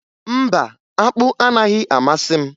Mba, akpụ anaghị amasị m